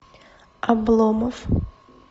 обломов